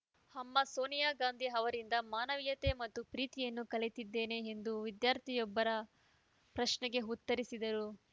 ಅಮ್ಮ ಸೋನಿಯಾ ಗಾಂಧಿ ಅವರಿಂದ ಮಾನವೀಯತೆ ಮತ್ತು ಪ್ರೀತಿಯನ್ನು ಕಲಿತಿದ್ದೇನೆ ಎಂದು ವಿದ್ಯಾರ್ಥಿನಿಯೊಬ್ಬರ ಪ್ರಶ್ನೆಗೆ ಉತ್ತರಿಸಿದರು